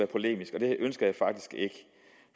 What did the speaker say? polemisk og det ønsker jeg faktisk ikke